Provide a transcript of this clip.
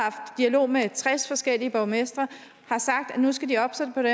dialog med tres forskellige borgmestre har sagt at nu skal de oppe sig på det